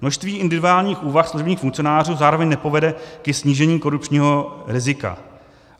Množství individuálních úvah služebních funkcionářů zároveň nepovede ke snížení korupčního rizika.